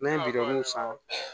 Ne ye bidɔn san